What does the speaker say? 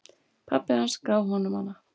Pabbi hans gaf honum hana.